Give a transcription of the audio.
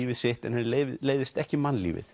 lífið sitt en henni leiðist ekki mannlífið